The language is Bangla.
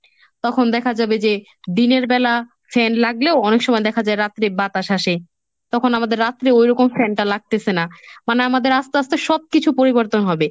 তখন দেখা যাবে যে দিনের বেলা fan লাগলেও অনেক সময় দেখা যায় রাত্রে বাতাস আসে, তখন তখন আমাদের রাত্রে ওইরকম fan টা লাগতেছে না, মানে আমাদের আস্তে আস্তে সব কিছু পরিবর্তন হবে।